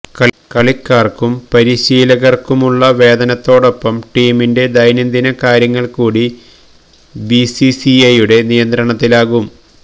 കളിക്കാര്ക്കും പരിശീലകര്ക്കുമുള്ള വേതനത്തോടൊപ്പം ടീമിന്റെ ദൈന്യംദിന കാര്യങ്ങള് കൂടി ബിസിസിഐയുടെ നിയന്ത്രണത്തിലാകും